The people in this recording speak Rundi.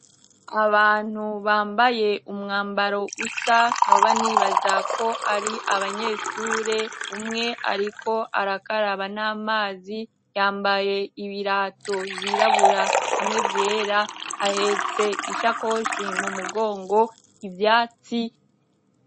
Abantu bambaye umwambaro usa noba nibaza ko ari abanyeshure, umwe ariko arakaraba n'amazi, yambaye ibirato vyirabura hamwe vyera, ahetse ishakoshi mu mugongo, ivyatsi.